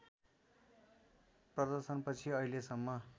प्रदर्शनपछि अहिलेसम्म